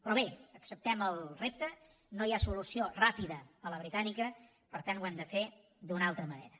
però bé acceptem el repte no hi ha solució ràpida a la britànica per tant ho hem de fer d’una altra manera